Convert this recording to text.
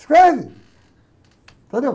Escreve, entendeu?